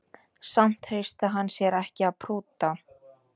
Samt treysti hann sér ekki að prútta